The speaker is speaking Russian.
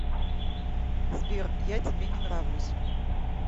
сбер я тебе не нравлюсь